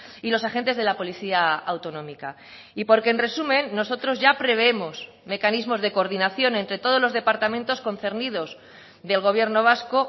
y los agentes de la policía autonómica y porque en resumen nosotros ya prevemos mecanismos de coordinación entre todos los departamentos concernidos del gobierno vasco